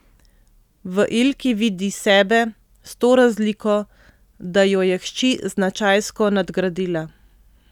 V Ilki vidi sebe, s to razliko, da jo je hči značajsko nadgradila.